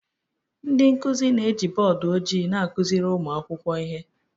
Ndị nkuzi na-eji bọọdụ ojii na-akụziri ụmụ akwụkwọ ihe